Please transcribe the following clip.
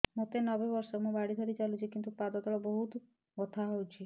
ମୋତେ ନବେ ବର୍ଷ ମୁ ବାଡ଼ି ଧରି ଚାଲୁଚି କିନ୍ତୁ ପାଦ ତଳ ବହୁତ ବଥା ହଉଛି